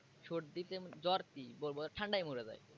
সর্দিতে জ্বর কি ঠান্ডায় মরে যায়।